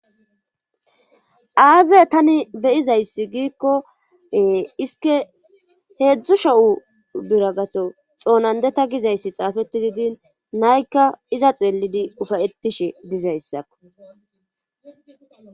Aaze tani beyizayssi giikkoee isike heedzdzu sho7u biragato xoonandeta gizayssi xaafeti didin naykka iza xeellidi ufayettishe dizayssakko